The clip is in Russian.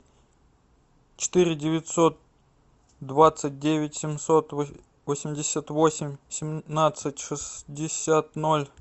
четыре девятьсот двадцать девять семьсот восемьдесят восемь семнадцать шестьдесят ноль